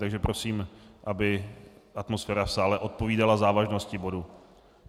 Takže prosím, aby atmosféra v sále odpovídala závažnosti bodu.